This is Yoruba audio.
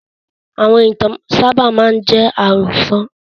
Àwọn ìtàn máa ń sábà jẹ́ àròsọ̀